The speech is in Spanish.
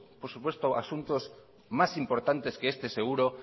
otros asuntos más importante que este seguro